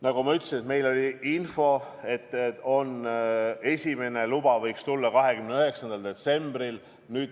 Nagu ma ütlesin, meil oli info, et esimene luba võiks tulla 29. detsembril.